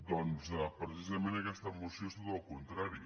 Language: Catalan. doncs precisament aquesta moció és tot el contra·ri